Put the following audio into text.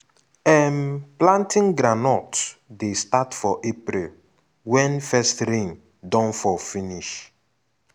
um planting groundnut dey start for april wen first rain don fall finish um